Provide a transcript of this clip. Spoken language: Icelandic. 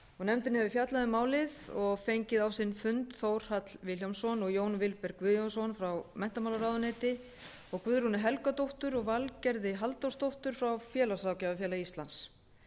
nefndin hefur fjallað um málið og fengið á sinn fund þórhall vilhjálmsson og jón vilberg guðjónsson frá menntamálaráðuneyti og guðrúnu helgadóttur og valgerði halldórsdóttur frá félagsráðgjafafélagi íslands